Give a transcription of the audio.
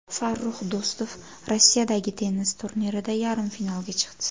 Farrux Do‘stov Rossiyadagi tennis turnirida yarim finalga chiqdi.